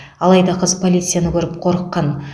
алайда қыз полицияны көріп қорыққан